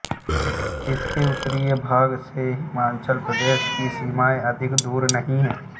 इसके उत्तरी भाग से हिमाचल प्रदेश की सीमाएं अधिक दूर नहीं हैं